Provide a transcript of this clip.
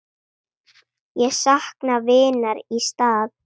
Ég sakna vinar í stað.